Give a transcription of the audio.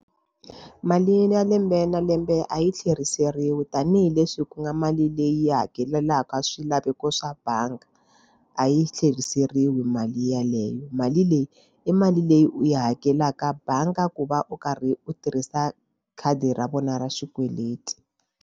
Mali ya lembe na lembe a yi tlheriseriwi tanihileswi ku nga mali leyi hakelelaka swilaveko swa bangi a yi tlheriseriwi mali yeleyo. Mali leyi i mali leyi u yi hakelaka bangi ku va u karhi u tirhisa khadi ra vona ra xikweleti.